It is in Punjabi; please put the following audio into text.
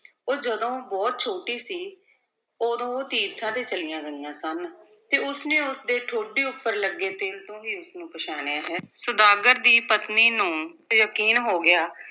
ਉਹ ਜਦੋਂ ਬਹੁਤ ਛੋਟੀ ਸੀ ਉਦੋਂ ਉਹ ਤੀਰਥਾਂ ਤੇ ਚਲੀਆਂ ਗਈਆਂ ਸਨ, ਤੇ ਉਸਨੇ ਉਸਦੇ ਠੋਡੀ ਉੱਪਰ ਲੱਗੇ ਤਿਲ ਤੋਂ ਹੀ ਉਸਨੂੰ ਪਛਾਣਿਆ ਹੈ, ਸੁਦਾਗਰ ਦੀ ਪਤਨੀ ਨੂੰ ਯਕੀਨ ਹੋ ਗਿਆ